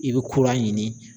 I bɛ kura ɲini.